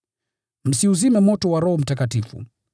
Msiuzime moto wa Roho Mtakatifu;